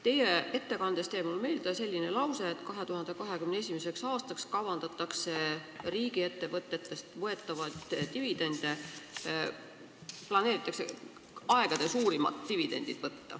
Teie ettekandest jäi mulle meelde selline lause, et 2021. aastal kavandatakse võtta riigiettevõtetest aegade suurimaid dividende.